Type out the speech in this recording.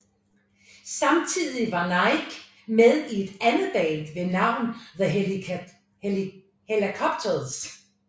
Samtidig var Nicke med i et andet band ved navn The Hellacopters